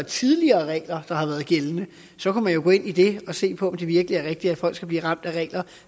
tidligere regler der har været gældende så kunne man jo gå ind i det og se på om det virkelig er rigtigt at folk skal blive ramt af regler